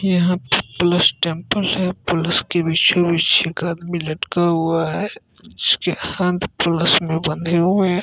यहाँ पे plus temple है| प्लस के बीचों-बीच एक आदमी लटका हुआ है उसके हाथ प्लस में बंधे हुए है।